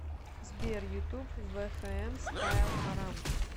сбер ютуб вфм стайл харам